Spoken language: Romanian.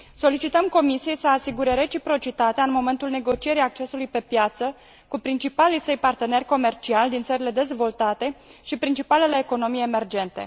Solicităm Comisiei să asigure reciprocitatea în momentul negocierii accesului pe piață cu principalii săi parteneri comerciali din țările dezvoltate și principalele economii emergente.